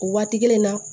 O waati kelen na